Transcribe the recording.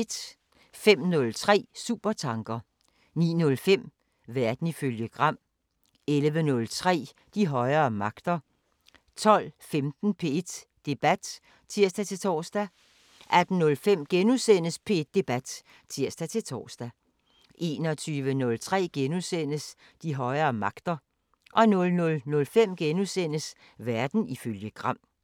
05:03: Supertanker 09:05: Verden ifølge Gram 11:03: De højere magter 12:15: P1 Debat (tir-tor) 18:05: P1 Debat *(tir-tor) 21:03: De højere magter * 00:05: Verden ifølge Gram *